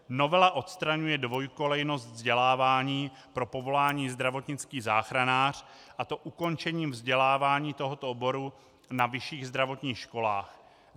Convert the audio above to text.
Novela odstraňuje dvojkolejnost vzdělávání pro povolání zdravotnický záchranář, a to ukončením vzdělávání tohoto oboru na vyšších zdravotních školách.